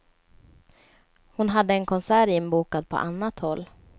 Hon hade en konsert inbokad på annat håll.